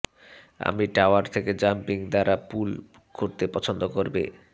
আমি টাওয়ার থেকে জাম্পিং দ্বারা পুল করতে পছন্দ করবে